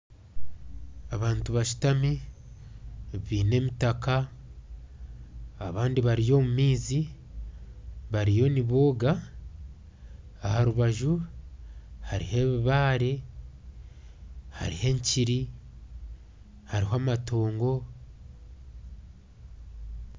Abantu bashutami baine emitaka abandi bari omu maizi bariyo nibooga aha rubaju hariho ebibaare hariho enkiri hariho amatoongo